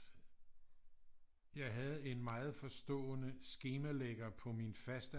Jeg havde en meget forstående skemalægger på min faste